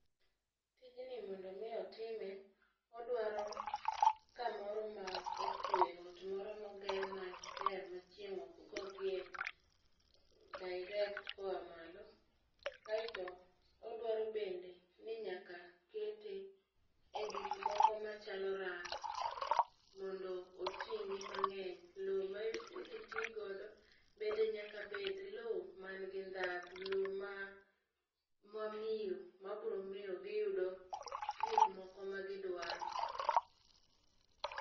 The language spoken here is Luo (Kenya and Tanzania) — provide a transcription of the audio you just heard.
Tijni mondo omi otime, odwaro kamoro ma okwe, ot moro ma oger maber, ma chieng' ok go gie direct koa malo. Aeto odwaro bende ni nyaka kete e gik moko machalo rak. Mondo oting'gi mangény. Lowo ma idhi ti godo bende nyaka bed lowo man nigi ndhadhu, lowo ma ma miyo, ma biro miyo giyudo gik moko ma gidwaro.